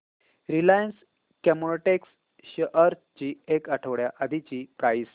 Reliance Chemotex shares ची एक आठवड्या आधीची प्राइस